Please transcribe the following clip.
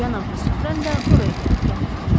Cənab de Sufrən də oraya gəltiriləcək.